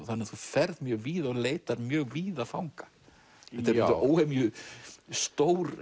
þannig að þú ferð mjög víða og leitar mjög víða fanga þetta er óhemju stór